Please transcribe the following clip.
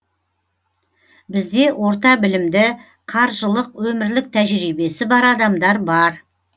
бізде орта білімді қаржылық өмірлік тәжірибесі бар адамдар бар